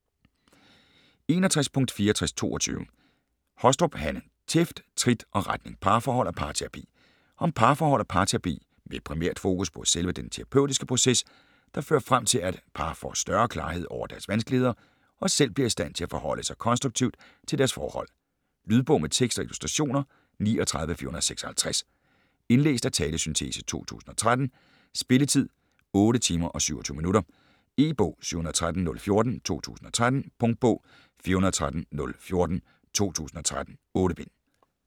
61.6422 Hostrup, Hanne: Tæft, trit og retning: parforhold og parterapi Om parforhold og parterapi med primært fokus på selve den terapeutiske proces, der fører frem til, at et par får større klarhed over deres vanskeligheder og selv bliver i stand til at forholde sig konstruktivt til deres forhold. Lydbog med tekst og illustrationer 39456 Indlæst af talesyntese, 2013. Spilletid: 8 timer, 27 minutter. E-bog 713014 2013. Punktbog 413014 2013. 8 bind.